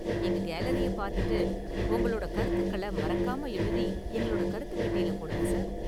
எங்க கேலரிய பாத்துட்டு உங்களோட கருத்துக்கள மறக்காம எழுதி எங்களோட கருத்துப் பெட்டியில போடுங்க, சார்.